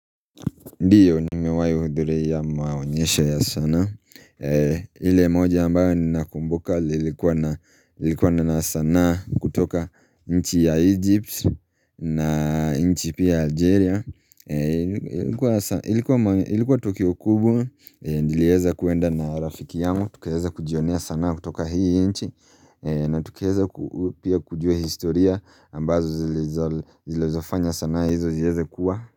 Ndiyo ni mewai huduria maonyesho ya sana. Ile moja ambayo ni nakumbuka lilikuwa na sanaa kutoka nchi ya Egypt na nchi pia Algeria. Ilikuwa tukiokubwa, nilieza kuenda na rafiki yangu. Tukieza kujionea sana kutoka hii nchi na tukieza pia kujua historia ambazo zilizofanya sanaa hizo zieza kuwa.